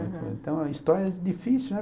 Então, é histórias difícil, né?